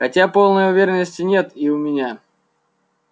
хотя полной уверенности нет и у меня